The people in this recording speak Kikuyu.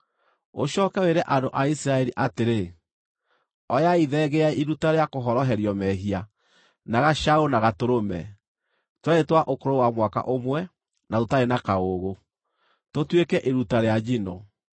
Ũcooke wĩre andũ a Isiraeli atĩrĩ: ‘Oyai thenge ya iruta rĩa kũhoroherio mehia, na gacaũ na gatũrũme, twerĩ twa ũkũrũ wa mwaka ũmwe na tũtarĩ na kaũũgũ, tũtuĩke iruta rĩa njino,